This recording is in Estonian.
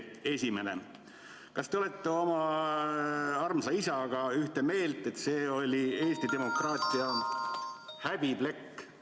Esimene: kas te olete oma armsa isaga ühte meelt, et see oli Eesti demokraatia häbiplekk?